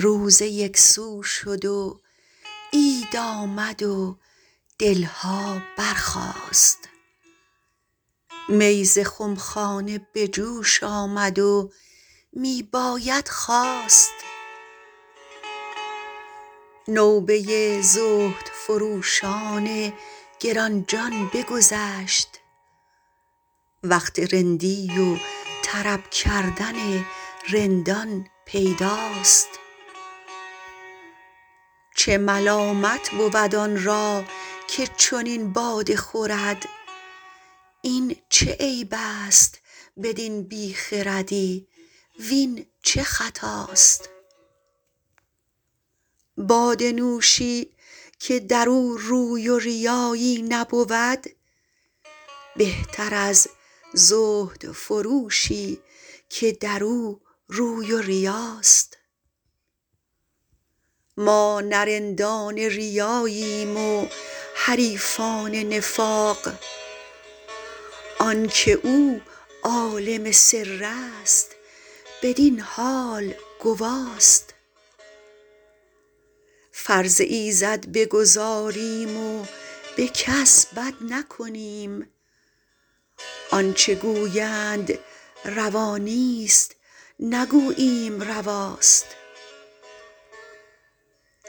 روزه یک سو شد و عید آمد و دل ها برخاست می ز خم خانه به جوش آمد و می باید خواست نوبه زهدفروشان گران جان بگذشت وقت رندی و طرب کردن رندان پیداست چه ملامت بود آن را که چنین باده خورد این چه عیب است بدین بی خردی وین چه خطاست باده نوشی که در او روی و ریایی نبود بهتر از زهدفروشی که در او روی و ریاست ما نه رندان ریاییم و حریفان نفاق آن که او عالم سر است بدین حال گواست فرض ایزد بگزاریم و به کس بد نکنیم وان چه گویند روا نیست نگوییم رواست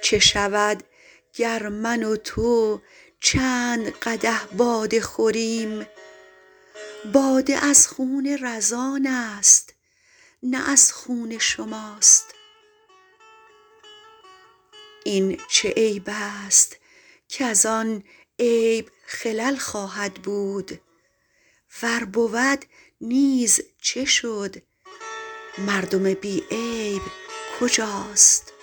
چه شود گر من و تو چند قدح باده خوریم باده از خون رزان است نه از خون شماست این چه عیب است کز آن عیب خلل خواهد بود ور بود نیز چه شد مردم بی عیب کجاست